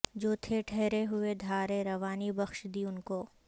جو تھے ٹھہرے ہوئے دھارے روانی بخش دی انکو